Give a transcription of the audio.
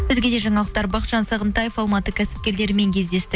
өзге де жаңалықтар бақытжан сағынтаев алматы кәсіпкерлерімен кездесті